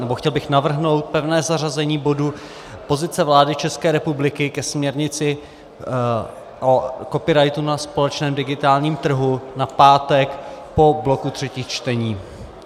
nebo chtěl bych navrhnout pevné zařazení bodu Pozice vlády České republiky ke směrnici o copyrightu na společném digitálním trhu na pátek po bloku třetích čtení.